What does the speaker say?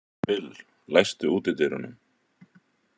Bill, læstu útidyrunum.